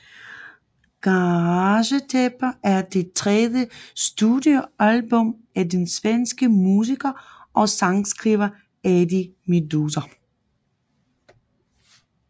Garagetaper er det tredje studiealbum af den svenske musiker og sangskriver Eddie Meduza